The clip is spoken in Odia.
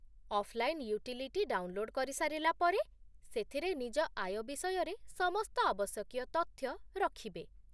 ଅଫ୍‌ଲାଇନ୍ ୟୁଟିଲିଟି ଡାଉନଲୋଡ୍ କରି ସାରିଲା ପରେ, ସେଥିରେ ନିଜ ଆୟ ବିଷୟରେ ସମସ୍ତ ଆବଶ୍ୟକୀୟ ତଥ୍ୟ ରଖିବେ